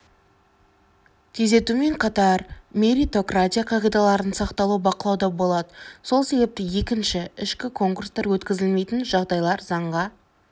тездетумен қатар меритократия қағидаларының сақталуы бақылауда болады сол себепті екінші ішкі конкурстар өткізілмейтін жағдайлар заңға